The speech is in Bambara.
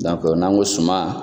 n'an ko suma